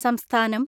സംസ്ഥാനം